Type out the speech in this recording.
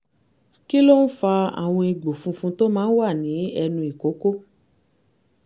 kí ló ń fa àwọn egbò funfun tó máa ń wà ní ẹnu ìkókó?